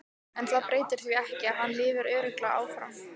En það breytir því ekki að hann lifir örugglega áfram.